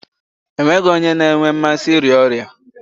E nweghi onye na-enwe mmasị n'ịrịa ọrịa.